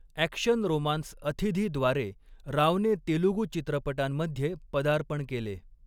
Action romance अथिधीद्वारे रावने तेलुगू चित्रपटांमध्ये पदार्पण केले.